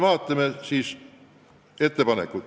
Vaatame ettepanekuid.